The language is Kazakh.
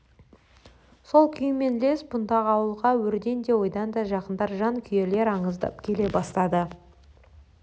сол күймен ілес бұндағы ауылға өрден де ойдан да жақындар жан күйерлер андыздап келе бастады